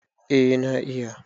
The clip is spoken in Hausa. eh na iya